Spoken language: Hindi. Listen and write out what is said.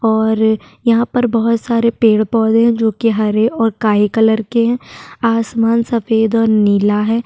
और यहा पर बहुत सारे पेड़ पौधे है जो कि हरे और काले कलर के है आसमान सफेद और नीला है।